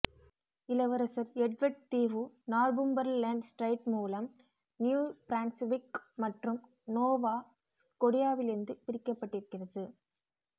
இளவரசர் எட்வர்ட் தீவு Northumberland strait மூலம் நியூ பிரன்சுவிக் மற்றும் நோவா ஸ்கொடியாவிலிருந்து பிரிக்கப்பட்டிருக்கிறது